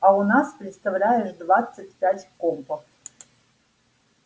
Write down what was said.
а у нас представляешь двадцать пять компов